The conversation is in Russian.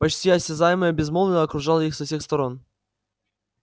почти осязаемое безмолвие окружало их со всех сторон